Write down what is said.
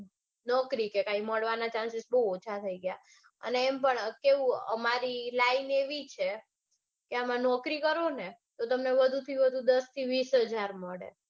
નોકરી કે કાંઈ મળવાના chances બૌ ઓછા થઇ ગઈ. અને એમ પણ કેવું અમારી line એવી છે આમાં નોકરી કરું ને તો તમને વધુથી વધુ દસથી વિશ હજાર મળે.